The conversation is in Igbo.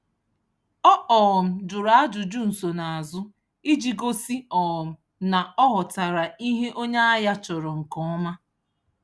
Ọ um jụrụ ajụjụ nsonaazụ iji gosi um na ọ ghọtara ihe onye ahịa chọrọ nke ọma.